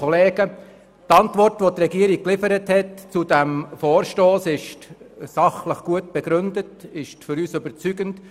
Die Antwort der Regierung zu diesem Vorstoss ist sachlich gut begründet und überzeugt uns.